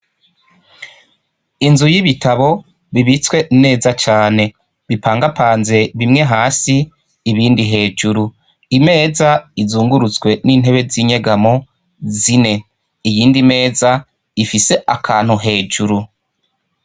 Inzu y'ibitabo bibitswe neza cane bipangapanze bimwe hasi ibindi hejuru imeza izungurutswe n'intebe z'inyegamo zine iyindi meza ifise akantu hejuru.